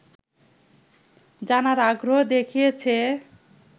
জানার আগ্রহ দেখিয়েছে